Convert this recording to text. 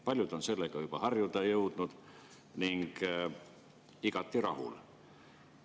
Paljud on jõudnud sellega juba harjuda ning on igati rahul.